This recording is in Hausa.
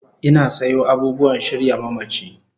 Ina sayo abubuwan shirya mamachi